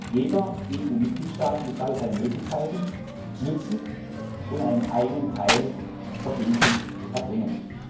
Jeder EU Mitgliedstaat muss damit seine Möglichkeiten nutzen und einen eigenen Teil verbindlich erbringen.